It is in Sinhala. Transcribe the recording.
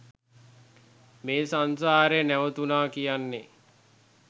මේ සංසාරය නැවතුනා කියන්නේ